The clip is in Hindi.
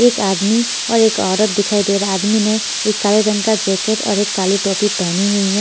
एक आदमी और एक औरत दिखाई दे रहा आदमी ने एक काले रंग का जैकेट और एक काली टोपी पहनी हुई है।